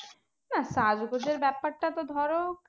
না সাজগোজের ব্যাপারটা তো ধরো